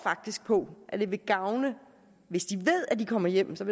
på at det vil gavne hvis de ved at de kommer hjem så